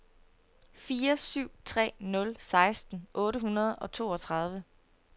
fire syv tre nul seksten otte hundrede og toogtredive